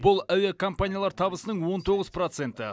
бұл әуе компаниялар табысының он тоғыз проценті